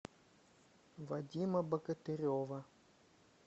вадима богатырева